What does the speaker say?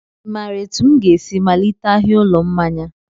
I maara etu m ga-esi malite ahịa ụlọ mmanya?